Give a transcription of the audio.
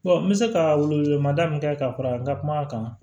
n bɛ se ka welewelemada min kɛ ka fara n ka kuma kan